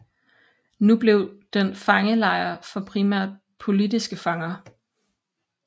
Nu blev den fangelejr for primært politiske fanger